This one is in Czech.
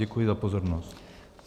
Děkuji za pozornost.